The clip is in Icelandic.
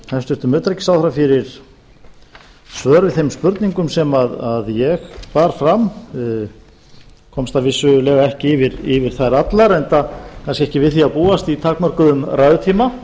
hæstvirtum utanríkisráðherra fyrir svör við spurningum mínum hún komst vissulega ekki yfir að svara öllum enda kannski ekki við því að búast í takmörkuðum ræðutíma